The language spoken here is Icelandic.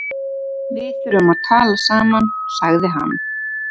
Við þurfum að tala saman, sagði hann.